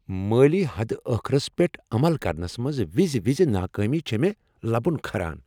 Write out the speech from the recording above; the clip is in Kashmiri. مٲلی حدٕ ٲخرس پیٹھ عمل کرنس منٛز وِزِ وِزِ ناکٲمی چھ مےٚ لبن كھاران ۔